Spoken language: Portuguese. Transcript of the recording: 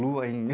Lua,